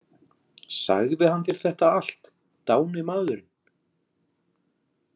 Sagði hann þér þetta allt, dáni maðurinn?